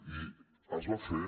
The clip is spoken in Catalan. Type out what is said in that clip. i es va fer